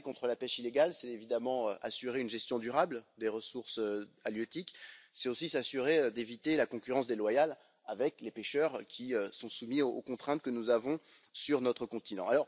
Lutter contre la pêche illégale, c'est évidemment assurer une gestion durable des ressources halieutiques, c'est aussi s'assurer d'éviter la concurrence déloyale avec les pêcheurs qui sont soumis aux contraintes que nous avons sur notre continent.